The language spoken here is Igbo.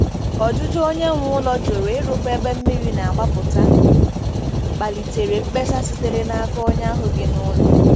Ọjụjụ onye nwe ụlọ jụrụ ịrụkwa ebe mmiri na-agbapụta kpalitere mkpesa sitere n'aka onye ahụ bi n'ụlọ.